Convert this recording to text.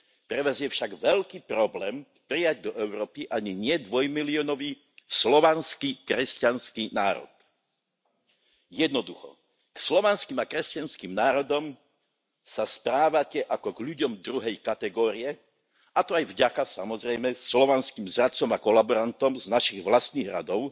Pre vás je však veľký problém prijať do Európy ani nie dvojmiliónový slovanský kresťanský národ. Jednoducho, k slovanským a kresťanským národom sa správate ako k ľuďom druhej kategórie, a to aj vďaka, samozrejme, slovanským zradcom a kolaborantom z našich vlastných radov,